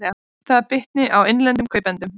Það bitni á innlendum kaupendum